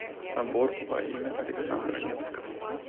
собор во имя александра невского